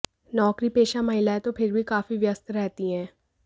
नौकरीपेशा महिलाएं तो फिर भी काफी व्यस्त रहती हैं